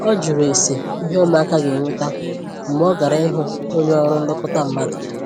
ọ jụrụ ese ìhé ụmụaka ga enweta mgbe ọ gara ịhụ onye ọrụ nlekọta mmadụ